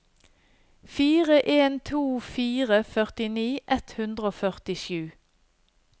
fire en to fire førtini ett hundre og førtisju